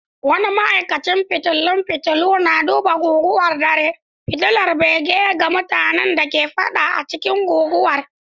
Wani ma'aikacin fitilun fitulu na duba guguwar dare, fitilar bege ga mutanen da ke fada a cikin guguwar.